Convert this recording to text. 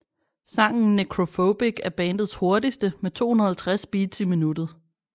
Sangen Necrophobic er bandets hurtigste med 250 beats i minuttet